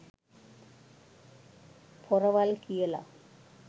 පොරවල් කියලා.